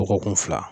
Dɔgɔkun fila